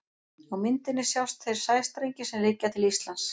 Á myndinni sjást þeir sæstrengir sem liggja til Íslands.